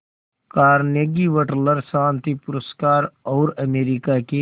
Carnegie Wateler शांति पुरस्कार और अमेरिका के